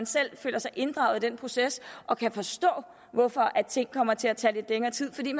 selv føler sig inddraget i den proces og kan forstå hvorfor ting kommer til at tage lidt længere tid fordi